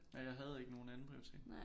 Ja jeg havde ikke nogen andenprioritet